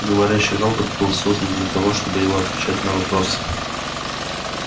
говорящий робот был создан для того чтобы его отвечать на вопросы